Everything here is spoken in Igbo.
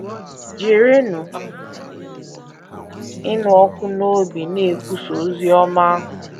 Jirinụ Ịnụ Ọkụ n’Obi Na - ekwusa Ozi Ọma Ahụ